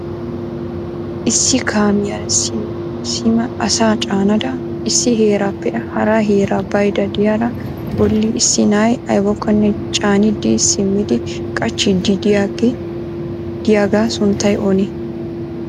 Issi kaamiya sima asaa caanada issi heerappe hara heera baydda de'iyaara bolli issi na'ay aybbakkonne caanidi simmidi qachchiidi de'iyaaga sunttay oonee?